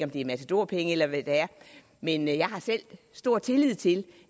det er matadorpenge eller hvad det er men jeg har selv stor tillid til